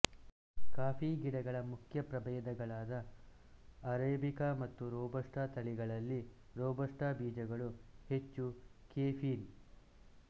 coffee ಗಿಡಗಳ ಮುಖ್ಯ ಪ್ರಭೇದಗಳಾದ ಅರಾಬಿಕ ಮತ್ತು ರೋಬಸ್ಟ ತಳಿಗಳಲ್ಲಿ ರೋಬಸ್ಟ ಬೀಜಗಳು ಹೆಚ್ಚು ಕೆಫೀನ್